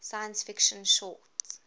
science fiction short